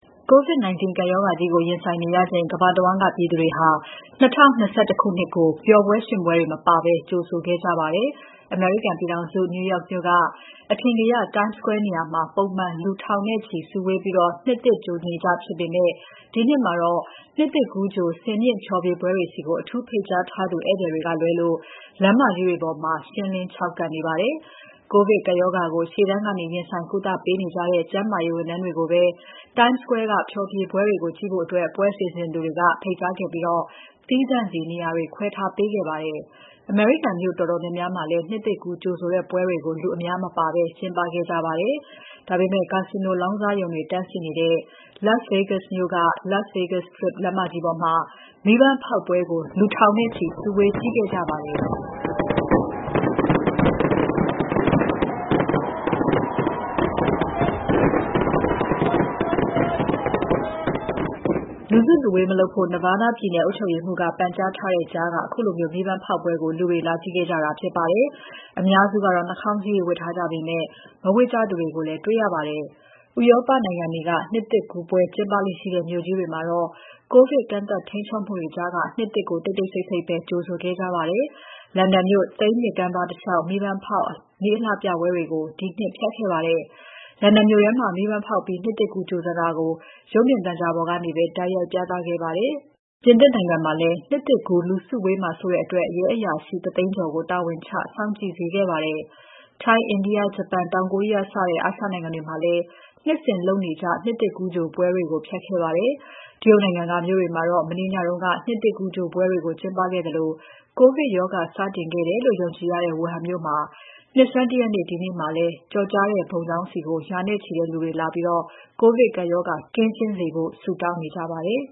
COVID-19 ကပ်ရောဂါကြီးကို ရင်ဆိုင်နေရချိန် ကမ္ဘာတဝန်းက ပြည်သူတွေဟာ ၂၀၂၁ နှစ်သစ်ကို ပျော်ပွဲ ရွှင်ပွဲတွေ မပါဘဲ ကြိုဆိုခဲ့ကြပါတယ်။ အမေရိကန်ပြည်ထောင်စု New York မြို့က အထင်ကရ Times Square နေရာမှာ ပုံမှန် လူထောင်နဲ့ချီ စုဝေးပြီး နှစ်သစ်ကြိုနေကျဖြစ်ပေမဲ့ ဒီနှစ်မှာတော့ နှစ်သစ်ကူးကြို စင်မြင့်ဖျော်ဖြေပွဲတွေဆီ အထူးဖိတ်ကြားထားသူ ဧည့်သည်တွေကလွဲလို့ လမ်းမကြီးတွေပေါ်မှာ ရှင်းလင်းခြောက်ကပ်နေပါတယ်။ ကိုဗစ်ကပ်ရောဂါကို ရှေ့တန်းကနေ ရင်ဆိုင်ကုသပေးနေကြတဲ့ ကျန်းမာရေးဝန်ထမ်းတွေကိုပဲ Times Square က ဖျော်ဖြေပွဲတွေကို ကြည့်ဖို့ ပွဲစီစဉ်သူတွေက ဖိတ်ကြားခဲ့ပြီး သီးသန့်စီ နေရာတွေ ခွဲထားပေးခဲ့ပါတယ်။ အမေရိကန်မြို့တော်တော်များများလည်း နှစ်သစ်ကူးကြိုဆိုတဲ့ ပွဲတွေကို လူအများမပါဘဲ ကျင်းပခဲ့ကြပေမဲ့ ကာစီနိုလောင်းကစားရုံတွေတန်းစီနေတဲ့ Las Vegas မြို့က Las Vegas Strip လမ်းမကြီးပေါ်မှာ မီးပန်းဖောက်ပွဲကို လူသောင်းနဲ့ချီ စုဝေးကြည့်ခဲ့ကြပါမယ်။ လူစုလူဝေးမလုပ်ဖို့ Nevada ပြည်နယ်အုပ်ချုပ်ရေးမှူးက ပန်ကြားထားတဲ့ကြားက ခုလို မီးပန်းဖောက်ပွဲကို လူတွေ လာကြည့်ကြတာဖြစ်ပါတယ်။ အများစုကတော့ နှာခေါင်းစည်းတွေ ဝတ်ထားကြပေမဲ့ မဝတ်ကြသူတွေကိုလည်း တေ့ွရပါတယ်။ ဥရောပနိုင်ငံက နှစ်သစ်ကူးပွဲကျင်းပလေ့ရှိတဲ့ မြို့ကြီးတွေမှာတော့ ကိုဗစ် ကန့်သတ် ထိန်းချုပ်မှုတွေကြားက နှစ်သစ်ကို တိတ်တိတ်ဆိတ်ဆိတ်ပဲ ကြိုဆိုခဲ့ကြပါတယ်။ လန်ဒန်မြို့ Thames မြစ်ကမ်းပါးတလေ ျှာက် မီးပန်းဖောက် မီးအလှပြပွဲတွေကို ဒီနှစ် ဖျက်ခဲ့ပါတယ်။ လန်ဒန်မြို့ထဲမှာ မီးပန်းဖောက်ပြီး နှစ်သစ်ကူးကြိုဆိုတာကို ရုပ်မြင်သံကြားပေါ်ကနေပဲ တိုက်ရိုက်ပြသခဲ့ပါတယ်။ ပြင်သစ်နိုင်ငံမှာလည်း နှစ်သစ်ကူး လူစုဝေးမှာစိုးတဲ့အတွက် ရဲအရာရှိ ၁၀၀,၀၀၀ ကျော်ကို တာဝန်ချ စောင့်ကြည့်စေခဲ့ပါတယ်။ ထိုင်း၊ India၊ ဂျပန်၊ တောင်ကိုရီးယား စတဲ့ အာရှနိုင်ငံတွေမှာလည်း နှစ်စဉ်လုပ်နေကြ နှစ်သစ်ကူးကြိုပွဲတွေကို ဖျက်ခဲ့ပါတယ်။ တရုတ်နိုင်ငံက မြို့တွေမှာတော့ မနေ့ညက နှစ်သစ်ကူးကြိုပွဲတွေကို ကျင်းပခဲ့သလို ကိုဗစ်ရောဂါစတင်ခဲ့တယ်လို့ ယုံကြည်ရတဲ့ ဝူဟန်မြို့မှာ နှစ်ဆန်း ၁ ရက်နေ့ ဒီနေ့မှာလည်း ကျော်ကြားတဲ့ ဘုံကျောင်းဆီ ရာနဲ့ချီတဲ့ လူတွေလာပြီး ကိုဗစ်ကပ်ရောဂါ ကင်းရှင်းစေဖို့ ဆုတောင်းနေကြပါတယ်